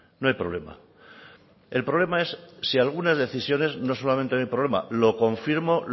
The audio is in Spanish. no hay problema el problema es si algunas decisiones no solamente el problema lo confirmo